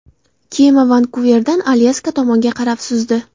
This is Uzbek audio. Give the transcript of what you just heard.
Kema Vankuverdan Alyaska tomonga qarab suzdi.